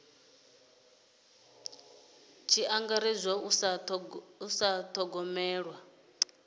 tshi angaredzwa u sa dithogomela